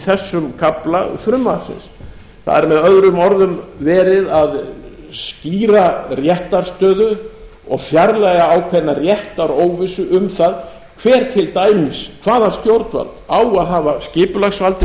þessum kafla frumvarpsins það er með öðrum orðum verið að skýra réttarstöðu og fjarlægja ákveðna réttaróvissu um það hver til dæmis hvaða stjórnvald á að hafa skipulagsvaldið